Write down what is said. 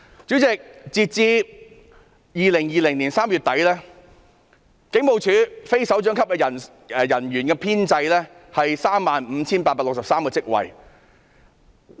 主席，截至2020年3月底，警務處的人手編制有 35,863 個職位。